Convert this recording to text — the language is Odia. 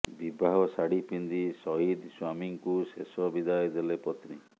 ବିବାହ ଶାଢୀ ପିନ୍ଧି ସହିଦ ସ୍ୱାମୀଙ୍କୁ ଶେଷ ବିଦାୟ ଦେଲେ ପତ୍ନୀ